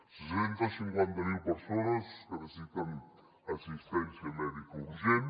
sis centes cinquanta mil persones que necessiten assistència mèdica urgent